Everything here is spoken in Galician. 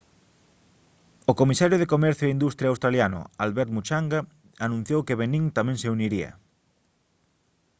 o comisario de comercio e industria australiano albert muchanga anunciou que benín tamén se uniría